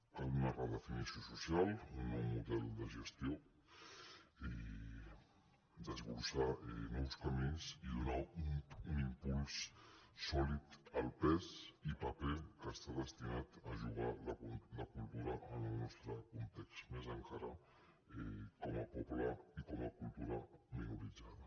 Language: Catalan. cal una redefinició social un nou model de gestió desbrossar nous camins i donar un impuls sòlid al pes i paper que està destinada a jugar la cultura en el nostre context més encara com a poble i com a cultura minoritzada